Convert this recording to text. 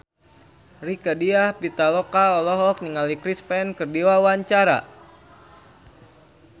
Rieke Diah Pitaloka olohok ningali Chris Pane keur diwawancara